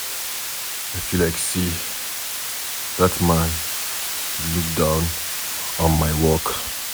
I feel like say dat Man dey look down on my work